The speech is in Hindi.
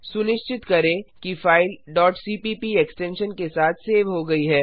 सुनिश्चित करें कि फाइल cpp एक्सटेंशन के साथ सेव हो गई है